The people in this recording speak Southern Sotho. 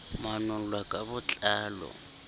manol lwa ka bo tlalo